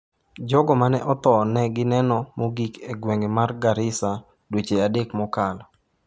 Jogo ma ne otho ne gineno mogik e gweng’ mar Garissa dweche adek mokalo.